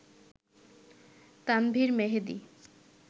Tanvir Mehedi